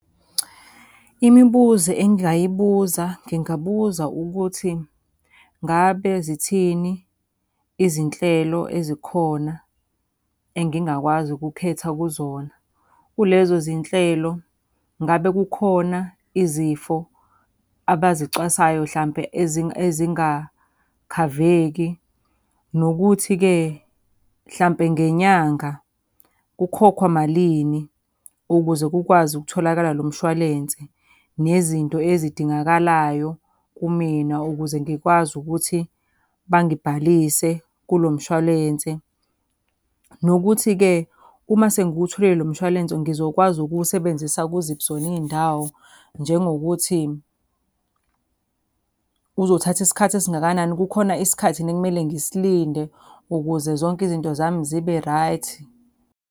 Imibuzo engingayibuza ngingabuza ukuthi, ngabe zithini izinhlelo ezikhona engingakwazi ukukhetha kuzona? Kulezo zinhlelo ngabe kukhona izifo abazicwasayo hlampe ezingakhaveki? Nokuthi-ke mhlawumpe ngenyanga kukhokhwa malini ukuze kukwazi ukutholakala lo mshwalense? Nezinto ezidingakalayo kumina ukuze ngikwazi ukuthi bangalibhalise kulo mshwalense. Nokuthi-ke uma sengiwutholile lo mshwalense ngizokwazi ukuwusebenzisa kuziphi zona iy'ndawo? Njengokuthi, uzothatha isikhathi esingakanani, kukhona isikhathi yini ekumele ngisilinde ukuze zonke izinto zami zibe-right?